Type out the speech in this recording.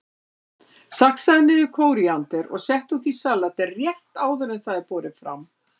Saxaðu niður kóríander og settu út í salatið rétt áður en það er borið fram.